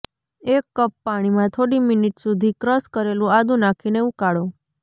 એક કપ પાણીમાં થોડી મિનિટ સુધી ક્રશ કરેલું આદુ નાખીને ઉકાળો